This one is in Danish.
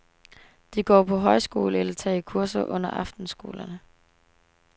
De går på højskole eller tager kurser under aftenskolerne.